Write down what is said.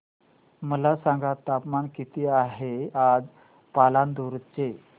मला सांगा तापमान किती आहे आज पालांदूर चे